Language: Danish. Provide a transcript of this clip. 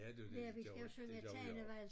Ja det jo det gør det gør vi også